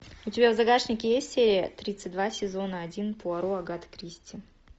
у тебя в загашнике есть серия тридцать два сезона один пуаро агата кристи